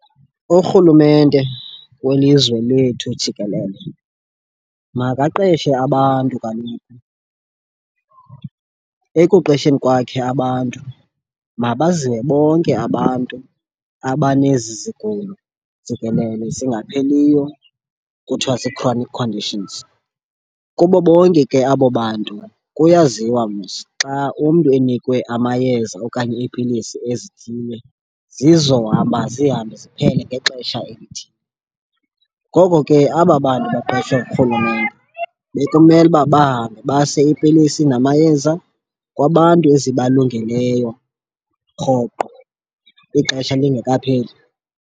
Urhulumente welizwe lethu jikelele makaqeshe abantu kaloku. Ekuqesheni kwakhe abantu mabaze bonke abantu abanezi zigulo jikelele zingapheliyo kuthiwa zi-chronic conditions. Kubo bonke ke abo bantu kuyaziwa mos xa umntu enikwe amayeza okanye iipilisi ezithile zizohamba zihambe ziphele ngexesha elithile. Ngoko ke aba bantu baqeshwa ngurhulumente bekumele uba bahambe base iipilisi namayeza kwabantu ezibalungeleyo rhoqo ixesha lingekapheli.